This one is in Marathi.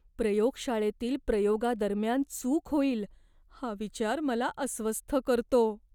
प्रयोगशाळेतील प्रयोगादरम्यान चूक होईल हा विचार मला अस्वस्थ करतो.